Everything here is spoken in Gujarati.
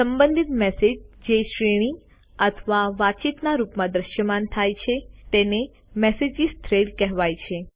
સંબંધિત મેસેજ જે શ્રેણી અથવા વાતચીતના રૂપમાં દ્રશ્યમાન થાય છે તેને મેસેજ થ્રેડ્સ કહેવાય છે